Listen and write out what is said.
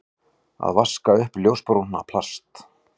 Að vaska upp ljósbrúna plast